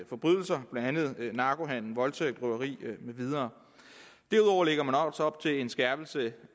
forbrydelser blandt andet narkohandel voldtægt røveri med videre derudover lægger man også op til en skærpelse